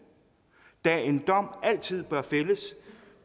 da en dom altid bør fældes